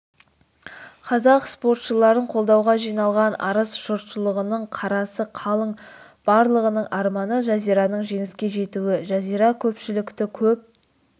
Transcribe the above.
қазақ спортшыларын қолдауға жиналған арыс жұртшылығының қарасы қалың барлығының арманы жазираның жеңіске жетуі жазира көпшілікті көп